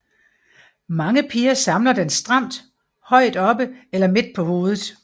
Mange piger samler den stramt højt oppe eller midt på hovedet